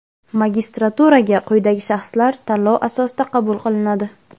magistraturaga quyidagi shaxslar tanlov asosida qabul qilinadi:.